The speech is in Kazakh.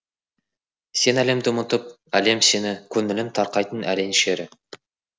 сен әлемді ұмытып әлем сені көңілің тарқайтын әрең шері